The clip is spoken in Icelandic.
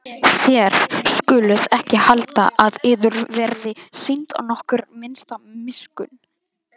Þér skuluð ekki halda að yður verði sýnd nokkur minnsta miskunn.